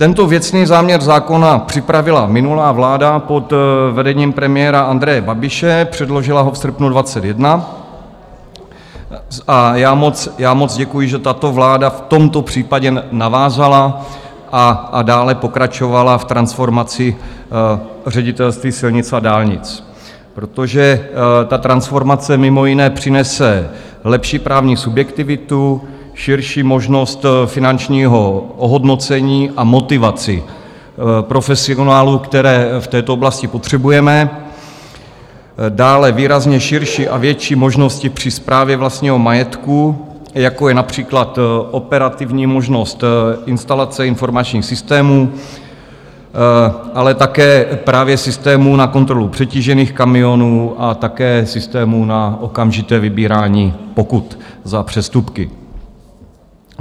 Tento věcný záměr zákona připravila minulá vláda pod vedením premiéra Andreje Babiše, předložila ho v srpnu 2021, a já moc děkuji, že tato vláda v tomto případě navázala a dále pokračovala v transformaci Ředitelství silnic a dálnic, protože ta transformace mimo jiné přinese lepší právní subjektivitu, širší možnost finančního ohodnocení a motivaci profesionálů, které v této oblasti potřebujeme, dále výrazně širší a větší možnosti při správě vlastního majetku, jako je například operativní možnost instalace informačních systémů, ale také právě systémů na kontrolu přetížených kamionů a také systémů na okamžité vybírání pokut za přestupky.